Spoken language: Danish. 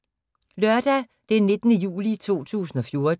Lørdag d. 19. juli 2014